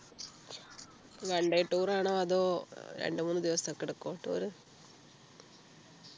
One day tour ആണോ അതോ രണ്ടു മൂന്നു ദിവസോക്കെ എടുക്കുമോ tour